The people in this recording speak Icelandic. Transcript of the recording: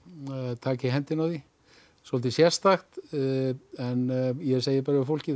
taka í hendina á því svolítið sérstakt en ég segi bara við fólkið